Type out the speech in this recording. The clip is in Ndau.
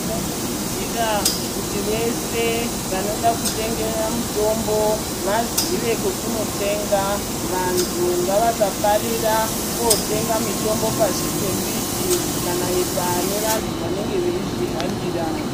Tinokurudzira kuti vese vanoda kutenga mitombo vazive kwekundotenga vantu ngavazive kwekusafarira kondetenga mitombo pasi pembiti pane vantu vanenge veizvihambira.